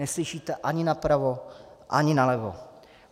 Neslyšíte ani napravo, ani nalevo.